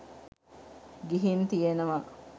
ගිහින් තියෙනව.